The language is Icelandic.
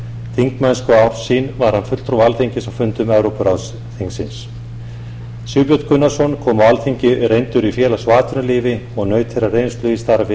síðustu ár sín var hann fulltrúi alþingis á fundum evrópuráðsþingsins sigbjörn gunnarsson kom á alþingi reyndur í félags og atvinnulífi og naut þeirrar reynslu í starfi